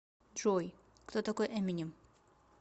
джой кто такой эминем